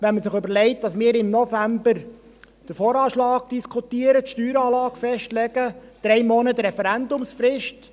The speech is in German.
Wenn man sich überlegt, dass wir im November den VA diskutieren, die Steueranlage festlegen, dann gibt es drei Monate Referendumsfrist.